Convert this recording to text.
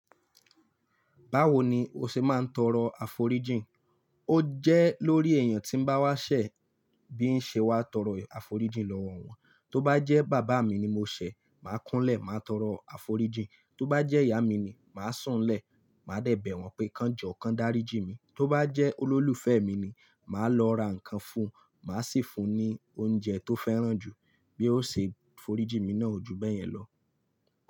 Báwo ni o ṣe máa ń tọrọ àforíjìn? Ó jẹ́ lórí èèyàn tí ń bá wá ṣẹ̀, bí ń ṣe wá tọrọ àforíjìn lọ́wọ́ wọn. Tó bá jẹ́ bàbá mi ni mo ṣẹ̀, màá kún un lẹ̀, màá tọrọ àforíjìn. Tó bá jẹ́ ìyá mi ni, màá sùn lẹ̀, màá dẹ bẹ̀ wọ́n pé, "Kan jọo, kán dárí jínmi." Tó bá jẹ́ olólùfẹ́ mi ni, màá lọ ra ǹkan fún, màá sì fún ní oúnjẹ tó fẹ́ràn jù bí ó ṣe forí jí mi náà o júbẹ̀yẹn lọ.